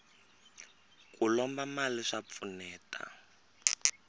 ku lomba mali swa pfuneta